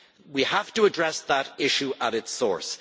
We have to address that issue at its source.